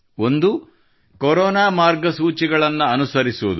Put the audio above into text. ಒಂದು ಕೊರೊನಾ ಮಾರ್ಗಸೂಚಿಗಳನ್ನು ಅನುಸರಿಸುವುದು